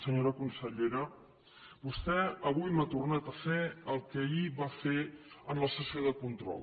senyora consellera vostè avui m’ha tornat a fer el que ahir va fer en la sessió de control